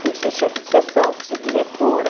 Fui ser chefe de sessão, fui ser diretora.